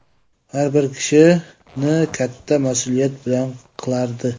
Har bir ishini katta mas’uliyat bilan qilardi.